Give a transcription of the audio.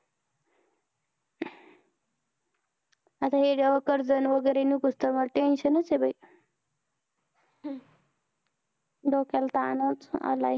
हे कर्ज वैगेरे समोर tension आहे डोक्याला ताण आलाय